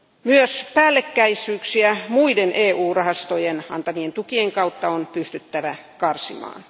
Myös päällekkäisyyksiä muiden EU rahastojen antamien tukien kautta on pystyttävä karsimaan.